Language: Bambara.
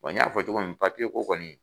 Wa n y'a fɔ cogo min papiye ko kɔni.